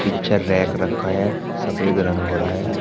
पीछे रैक रखा है सफेद रंग हो रहा है।